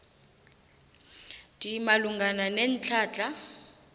d malungana netlhatlha